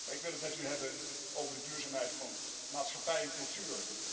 Ik wil het met u echter hebben over de duurzaamheid van maatschappij en cultuur.